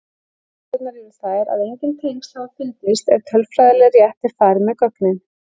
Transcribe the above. Niðurstöðurnar eru þær að engin tengsl hafa fundist ef tölfræðilega rétt er farið með gögnin.